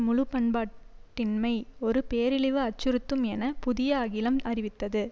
முழுபண்பாட்டின்மை ஒரு பேரழிவு அச்சுறுத்தும் என புதிய அகிலம் அறிவித்தது